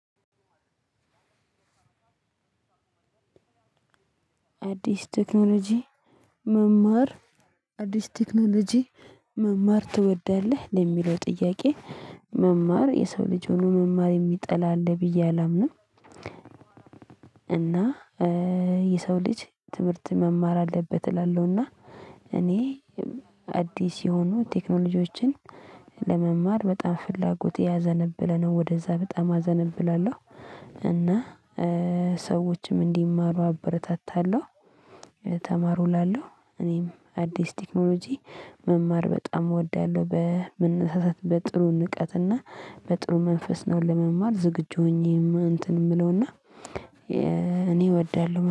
አዲስ ቴክኖሎጂ መማር አዲስ ቴክኖሎጂ መማር ትወዳለህ ለሚለው ጥያቄ መማር የሰው ልጅ ሆኖ መማር የሚጠላ አለ ብዬ አላምንም። እና የሰው ልጅ ትምህርት መማር አለበት እላለሁና። እኔ አዲስ የሆኑ ቴክኖሎጂዎችን ለመማር በጣም ፍላጎቴ ያዘነበለነው ወደዛ በጣም አዘነብላለሁ። እና ሰዎችም እንዲማሩ አበረታታለሁ። ተማሩ እላለሁ እኔም አዲስ ቴክኖሎጂ መማር በጣም እወዳለሁ። በመነሳሳት በጥሩ ንቃትና በጥሩ መንፈስ ነው ለመማር ዝግጁ ሆኜ እንትን የምለው እና እኔ እወዳለሁ